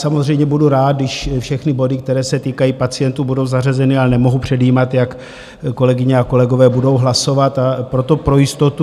Samozřejmě budu rád, když všechny body, které se týkají pacientů, budou zařazeny, ale nemohu předjímat, jak kolegyně a kolegové budou hlasovat, a proto pro jistotu.